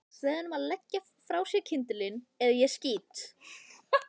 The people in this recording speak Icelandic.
Segðu honum að leggja frá sér kyndilinn eða ég skýt.